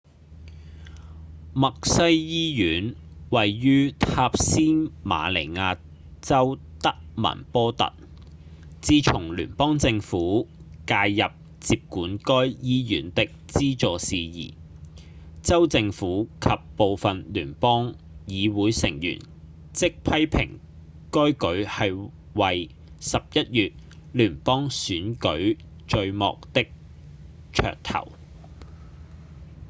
默西醫院位於塔斯馬尼亞州德文波特自從聯邦政府介入接管該醫院的資助事宜州政府及部分聯邦議會成員即批評該舉係為11月聯邦選舉序幕的噱頭